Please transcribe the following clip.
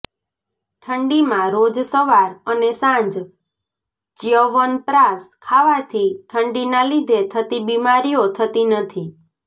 ઠંડીમા રોજ સવાર અને સાંજ ચ્યવનપ્રાશ ખાવાથી ઠંડીના લીધે થતી બિમારીઓ થતી નથી